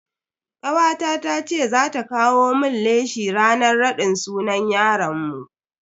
Kawata tace za ta kawo mun leshi ranan raɗin sunan yaron mu.